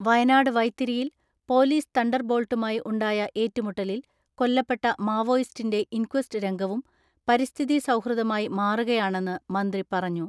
വയനാട് വൈത്തിരിയിൽ പൊലീസ്തണ്ടർബോൾട്ടുമായി ഉണ്ടായ ഏറ്റുമുട്ടലിൽ കൊല്ലപ്പെട്ട മാവോയിസ്റ്റിന്റെ ഇൻക്വസ്റ്റ് രംഗവും പരിസ്ഥിതി സൗഹൃദമായി മാറുകയാണെന്ന് മന്ത്രി പറഞ്ഞു.